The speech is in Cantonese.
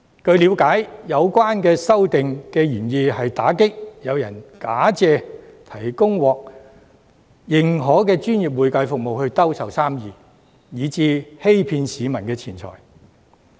據了解，有關修訂的原意，是要打擊有人假借提供獲認可的專業會計服務來兜售生意，欺騙市民的錢財。